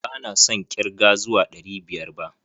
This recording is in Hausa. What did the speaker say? ba na son ƙirge zuwa ɗari biyar ba.